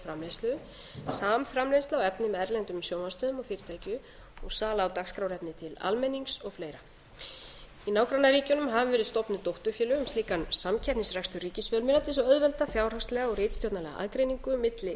framleiðslu samframleiðsla á efni með erlendum sjónvarpsstöðvum og fyrirtækjum og sala á dagskrárefni til almennings og fleira í nágrannaríkjunum aðra verið stofnuð dótturfélög um slíkan samkeppnisrekstur ríkisfjölmiðla til þess að auðvelda fjárhagslega og ritstjórnarlega aðgreiningu milli